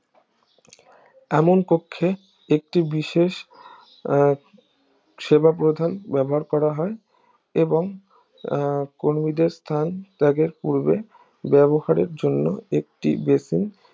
এমন কক্ষে একটি বিশেষ আহ সেবা প্রধান ব্যবহার করা হয় এবং আহ কর্মীদের স্থান ত্যাগের পূর্বে ব্যবহারের জন্য একটি বেতন